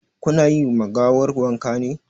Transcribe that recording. Ku na yi ma gawar wanka ne?